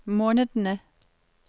månedene